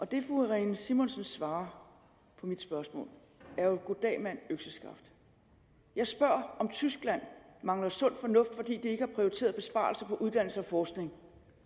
det fru irene simonsen svarer på mit spørgsmål er jo goddag mand økseskaft jeg spørger om tyskland mangler sund fornuft fordi de ikke har prioriteret besparelser på uddannelse og forskning